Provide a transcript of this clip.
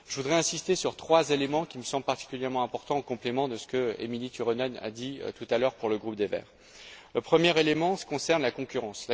Je voudrais insister sur trois éléments qui me semblent particulièrement importants, en complément de ce qu'Émilie Turunen a dit tout à l'heure pour le groupe des Verts. Le premier élément concerne la concurrence.